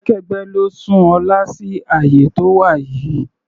Ẹgbẹ́kẹ́gbẹ́ ló sún Ọlá sí àyè tó wà yìí.